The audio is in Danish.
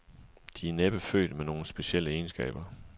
De er næppe født med nogle specielle egenskaber.